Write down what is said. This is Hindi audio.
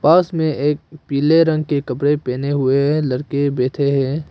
बस में एक पीले रंग के कपड़े पहने हुए लड़के बैठे हैं।